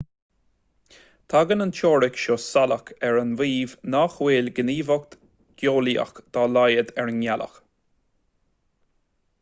tagann an teoiric seo salach ar an maíomh nach bhfuil gníomhaíocht gheolaíoch dá laghad ar an ngealach